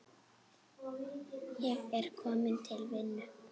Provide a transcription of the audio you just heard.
Ég er kominn til vinnu.